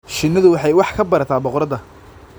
Shinnidu waxay wax ka barataa boqorada.